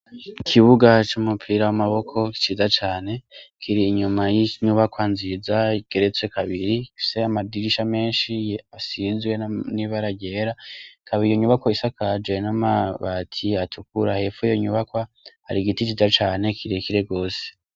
Ikibuga c' umupira w' amaboko ciza cane kiri inyuma y'inyubakwa nziza igeretse kabiri ifise amadirisha menshi asize ibara ryera ikaba iyo nyubakwa isakajwe n' amabati atukura hepfo y' iyo nyubakwa hari igiti ciza cane kire kire gose.